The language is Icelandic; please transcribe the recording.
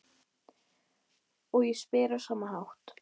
Og ég spyr á sama hátt